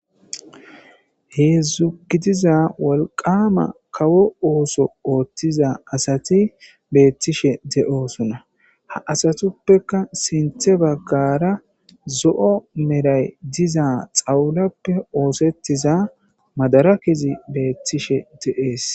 heedzdzugidiza wolqama kawo ooso ooththiza asati beettishe de7osuna ha asatuppeka sinthe baggara zo7o meray diza xawulappe oosettiza madara kezi beettishe de7ees